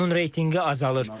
Onun reytinqi azalır.